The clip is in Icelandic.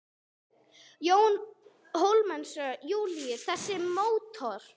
Jón Hólmsteinn Júlíusson: Þessi mótor?